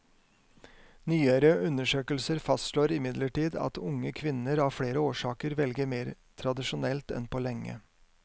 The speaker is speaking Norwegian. Nyere undersøkelser fastslår imidlertid at unge kvinner av flere årsaker velger mer tradisjonelt enn på lenge.